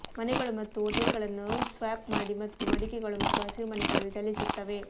ಮನೆಗಳು ಮತ್ತು ಹೋಟೆಲ್ಗಳನ್ನು ಸ್ವ್ಯಾಪ್ ಮಾಡಿ ಮತ್ತು ಮಡಿಕೆಗಳು ಮತ್ತು ಹಸಿರುಮನೆಗಳಲ್ಲಿ ಚಲಿಸುತ್ತವೆ